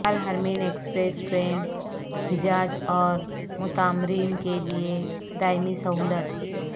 الحرمین express train حجاج اور معتمرین کے لئے دائمی سہولت